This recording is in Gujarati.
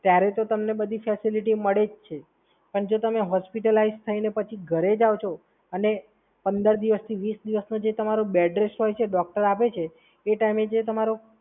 ત્યારે તો તમને બધી ફેસીલીટી મળે જ છે. પણ જો તમે હોસ્પિટલાઇઝ થઈને પછી ઘરે જાઓ છો અને પંદર દિવસથી વીસ દિવસનો જે તમારો બેડરેસ્ટ હોય છે ડોક્ટર આપે છે એ ટાઈમે જે તમારો